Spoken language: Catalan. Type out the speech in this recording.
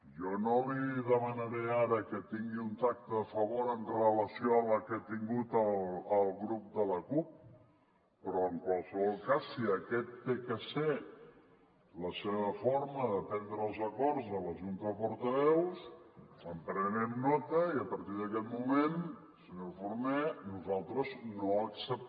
jo no li demanaré ara que tingui un tracte de favor amb relació al que ha tingut al grup de la cup però en qualsevol cas si aquesta ha de ser la seva forma de prendre els acords de la junta de portaveus en prenem nota i a partir d’aquest moment senyor forné nosaltres nosaltres